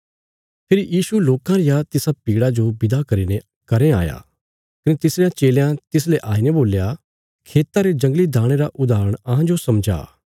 फेरी यीशु लोकां रिया तिसा भीड़ा जो विदा करीने घरें आया कने तिसरयां चेलयां तिसले आईने बोल्या खेता रे जंगली दाणे रा उदाहरण अहांजो समझा